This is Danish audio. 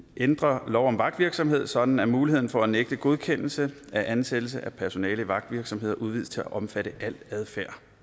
ændre lov om vagtvirksomhed sådan at muligheden for at nægte godkendelse af ansættelse af personale i vagtvirksomheder udvides til at omfatte al adfærd